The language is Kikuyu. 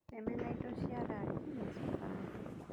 Wĩtheme na indo cia rangi na sukari